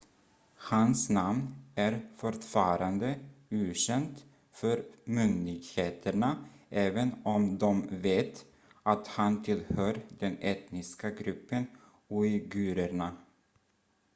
hans namn är fortfarande okänt för myndigheterna även om de vet att han tillhör den etniska gruppen uigurerna